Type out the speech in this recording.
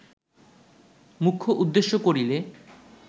মুখ্য উদ্দেশ্য করিলে